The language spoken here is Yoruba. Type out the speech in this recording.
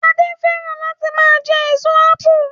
Adé fẹ́ràn láti máa jẹ èso ápù